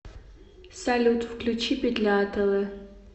салют включи петля атл